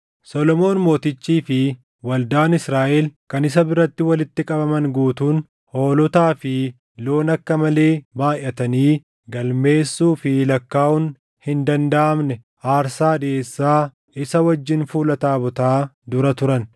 Solomoon Mootichii fi waldaan Israaʼel kan isa biratti walitti qabaman guutuun hoolotaa fi loon akka malee baayʼatanii galmeessuu fi lakkaaʼuun hin dandaʼamne aarsaa dhiʼeessaa isa wajjin fuula taabotaa dura turan.